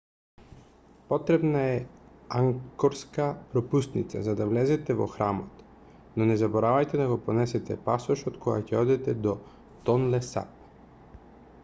потребна е ангкорска пропусница за да влезете во храмот но не заборавајте да го понесете пасошот кога ќе одите до тонле сап